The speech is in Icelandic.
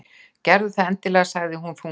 Gerðu það endilega- sagði hún þungbrýnd.